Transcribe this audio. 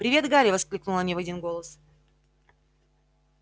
привет гарри воскликнули они в один голос